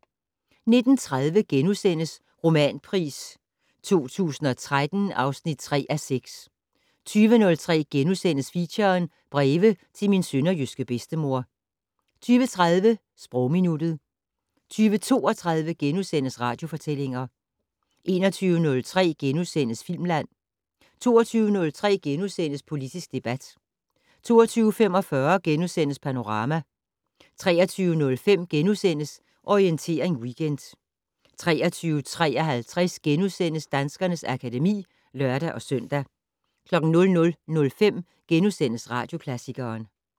19:30: Romanpris 2013 (3:6)* 20:03: Feature: Breve til min sønderjyske bedstemor * 20:30: Sprogminuttet 20:32: Radiofortællinger * 21:03: Filmland * 22:03: Politisk debat * 22:45: Panorama * 23:05: Orientering Weekend * 23:53: Danskernes akademi *(lør-søn) 00:05: Radioklassikeren *